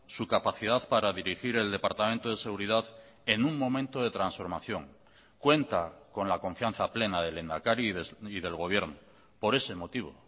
su capacidad para dirigir el departamento de seguridad en un momento de transformación cuenta con la confianza plena del lehendakari y del gobierno por ese motivo